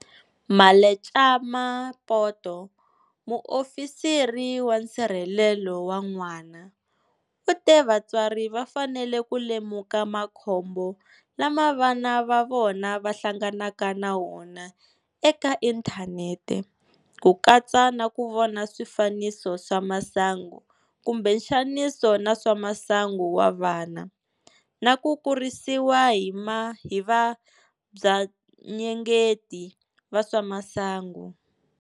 Mmaletjema Poto, Muofisiri wa Nsirhelelo wa N'wana, u te vatswari va fanele ku lemuka makhombo lama vana va vona va hlanganaka na wona eka inthanete, ku katsa na ku vona swifaniso swa masangu kumbe nxaniso na swa masangu wa vana, na ku kurisiwa hi vabvanyengeti va swa masangu.